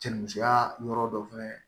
Cɛnnimusoya yɔrɔ dɔ fɛnɛ